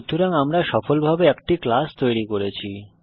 সুতরাং আমরা সফলভাবে একটি ক্লাস তৈরি করেছি